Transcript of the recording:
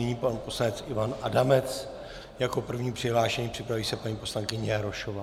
Nyní pan poslanec Ivan Adamec jako první přihlášený, připraví se paní poslankyně Jarošová.